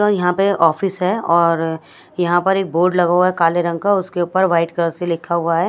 यहां पे ऑफिस है और यहां पे एक बोर्ड लगा हुआ है काले रंग का और उसपे व्हाइट कलर से लिखा हुआ है।